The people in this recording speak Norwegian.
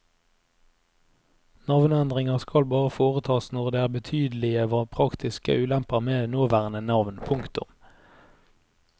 Navneendringer skal bare foretas når det er betydelige praktiske ulemper ved nåværende navn. punktum